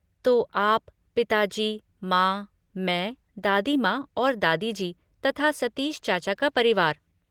तो आप, पिताजी, माँ, मैं, दादी माँ और दादाजी, तथा सतीश चाचा का परिवार।